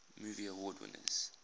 movie award winners